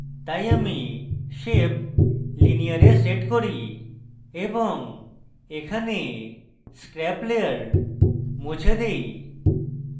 তাই আমি shape linear এ set করি এবং এখানে scrap layer মুছে দেই